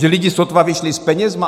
Že lidi sotva vyšli s penězi?